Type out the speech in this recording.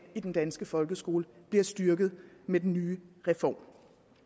i den danske folkeskole bliver styrket med den nye reform